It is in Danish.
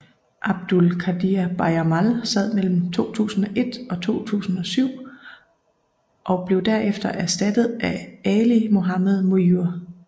Abdul Qadir Bajamal sad mellem 2001 og 2007 og blev der efter erstattet af Ali Mohammed Mujur